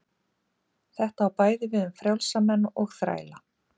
þetta á bæði við um frjálsa menn og þræla